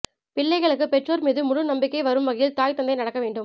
பிள்ளைகளுக்கு பெற்றோர் மீது முழு நம்பிக்கை வரும் வகையில் தாய் தந்தை நடக்க வேண்டும்